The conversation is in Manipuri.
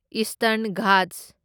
ꯏꯁꯇꯔꯟ ꯘꯥꯠꯁ